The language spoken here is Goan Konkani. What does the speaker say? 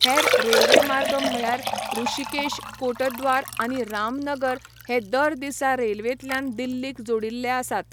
हेर रेल्वेमार्ग म्हळ्यार ऋषिकेश, कोटद्वार आनी रामनगर हे दर दिसा रेल्वेंतल्यान दिल्लीक जोडिल्ले आसात.